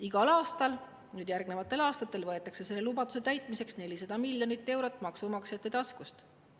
Igal aastal järgnevatel aastatel võetakse selle lubaduse täitmiseks 400 miljonit eurot maksumaksjate taskust.